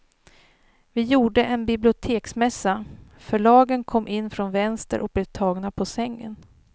Vi gjorde en biblioteksmässa, förlagen kom in från vänster och blev tagna på sängen.